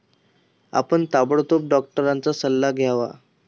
आपण ताबडतोब डॉक्टरांचा सल्ला घ्यावा.